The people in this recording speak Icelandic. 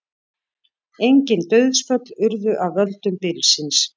Engin dauðsföll urðu af völdum bylsins